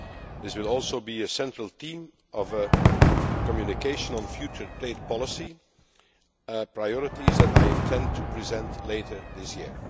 This will also be a central theme of a communication on future trade policy priorities that I intend to present later this year.